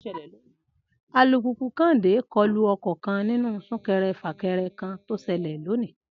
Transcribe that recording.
Alùpùpù Kẹ́hìndé kọlu ọkọ̀ kan nínú súnkẹrẹ-fàkẹrẹ kan tó ṣẹlẹ̀ lónìí